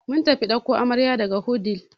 Mun tafi ɗauko amarya daga wudil.